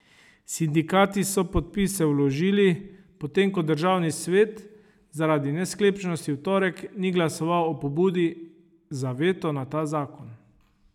Sindikati so podpise vložili, potem ko državni svet zaradi nesklepčnosti v torek ni glasoval o pobudi za veto na ta zakon.